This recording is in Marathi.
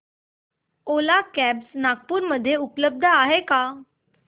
ओला कॅब्झ नागपूर मध्ये उपलब्ध आहे का